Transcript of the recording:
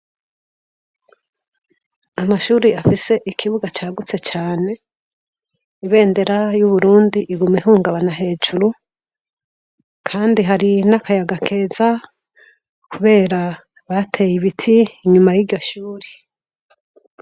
Amashuri afise ikibuga cagutse cane ibendera yu Burundi iguma ihungabana hejuru kandi hari n'akayaga keza kubera bateye ibiti inyuma yiryo shuri.